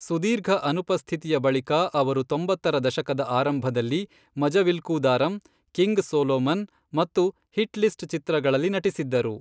ಸುದೀರ್ಘ ಅನುಪಸ್ಥಿತಿಯ ಬಳಿಕ ಅವರು ತೊಂಬತ್ತರ ದಶಕದ ಆರಂಭದಲ್ಲಿ, ಮಜವಿಲ್ಕೂದಾರಂ, ಕಿಂಗ್ ಸೊಲೊಮನ್, ಮತ್ತು ಹಿಟ್ಲಿಸ್ಟ್, ಚಿತ್ರಗಳಲ್ಲಿ ನಟಿಸಿದ್ದರು.